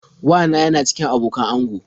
Wa na yana cikin abokan ango.